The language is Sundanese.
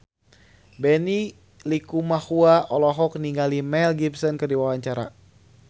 Benny Likumahua olohok ningali Mel Gibson keur diwawancara